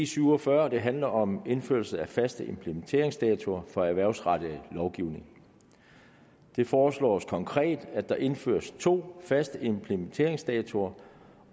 syv og fyrre handler om indførelse af faste implementeringsdatoer for erhvervsrettet lovgivning det foreslås konkret at der indføres to faste implementeringsdatoer